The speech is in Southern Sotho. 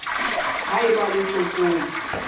ha e ba le tlokotsi